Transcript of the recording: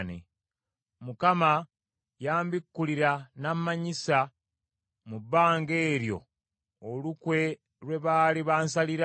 Mukama yambikkulira nnamanyisa mu bbanga eryo olukwe lwe baali bansalira.